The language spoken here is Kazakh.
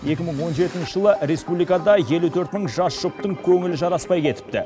екі мың он жетінші жылы республикада елу төрт мың жас жұптың көңілі жараспай кетіпті